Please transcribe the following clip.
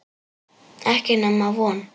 Ekki nema von.